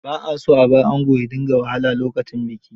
Ba a son a br ango ya dinga wahala lokacin biki.